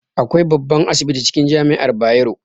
Akwai babban asibiti cikin jami'ar Bayero